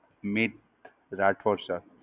Meet Rathod Sir.